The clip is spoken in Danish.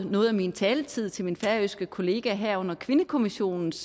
noget af min taletid til min færøske kollega her under kvindekommissionens